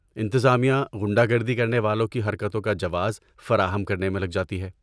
انتظامیہ غنڈہ گردی کرنے والوں کی حرکتوں کا جواز فراہم کرنے میں لگ جاتی ہے۔